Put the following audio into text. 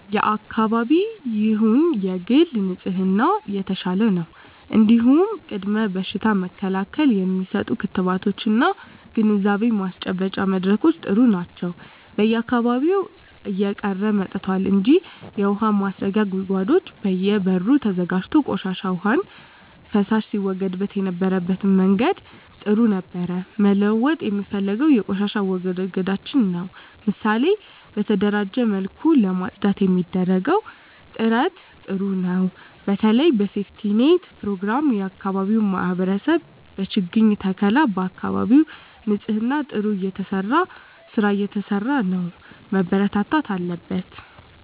የአካባቢ ይሁን የግል ንጽህና የተሻለ ነው እንዲሁም ቅድመ በሽታ መከላከል የሚሰጡ ክትባቶች እና ግንዛቤ ማስጨበጫ መድረኮች ጥሩ ናቸው በየአካባቢው እየቀረ መጥቷል እንጂ የውሀ ማስረጊያ ጉድጓዶች በየ በሩ ተዘጋጅቶ ቆሻሻ ዉሃና ፍሳሽ ሲወገድበት የነበረበት መንገድ ጥሩ ነበር መለወጥ የምፈልገው የቆሻሻ አወጋገዳችንን ነው ምሳሌ በተደራጀ መልኩ ለማፅዳት የሚደረገው ጥረት ጥሩ ነው በተለይ በሴፍትኔት ፕሮግራም የአካባቢ ማህበረሰብ በችግኝ ተከላ በአካባቢ ንፅህና ጥሩ ስራ እየተሰራ ነው መበርታት አለበት